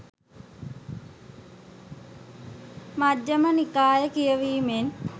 මජ්ඣිම නිකාය කියවීමෙන්